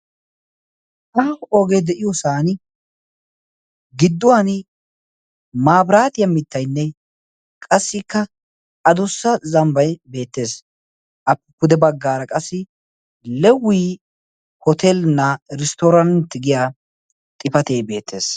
aaho oogee de'iyoosan gidduwan maabiraatiyaa mittaynne qassikka adossa zambbay beettees appe pude baggaara qassi lewi hotelnaa risttorant giya xifatee beettees